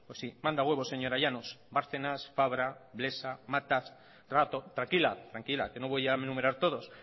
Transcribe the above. pues sí manda huevos señora llanos bárcenas fabra blesa matas rato tranquila tranquila que no voy a enumerar todos